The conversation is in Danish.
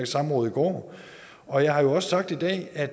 samråd i går og jeg har jo også sagt i dag at